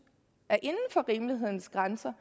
er inden for rimelighedens grænser